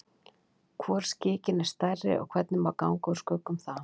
Hvor skikinn er stærri og hvernig má ganga úr skugga um það?